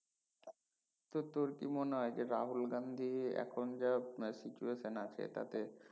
তো তোর কি মনে হয় যে রাহুল গান্ধী এখন যা situation আছে এটাতে